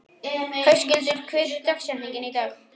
Höskuldur, hver er dagsetningin í dag?